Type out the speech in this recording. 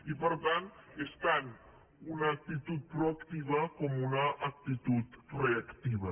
i per tant és tant una actitud proactiva com una actitud reactiva